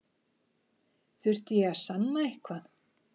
Þurfti ég að sanna eitthvað?